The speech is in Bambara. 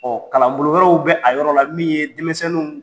kalanbolo wɛrɛw bɛ a yɔrɔ la min ye denmisɛnniw